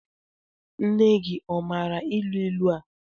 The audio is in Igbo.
Nne gị ọ maara ilu ilu a?